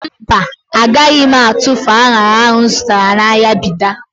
Mba, agaghị m atufu an̄ara ahụ m zụtara n'ahịa Bida.